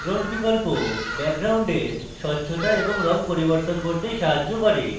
background বিকল্প ব্যাকগ্রাউন্ডের স্বচ্ছতা এবং রঙ পরিবর্তন করতে সাহায্য করে